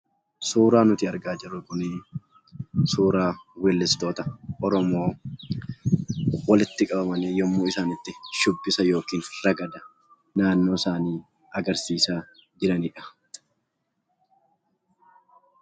Suuraan nuti argaa jirru kun suuraa weellistoota oromoo walitti qabamanii yeroo itti isaan shubbisa yookiin ragada naannoo isaanii agarsiisaa jiranidha.